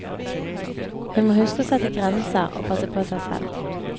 Hun må huske å sette grenser og passe på seg selv.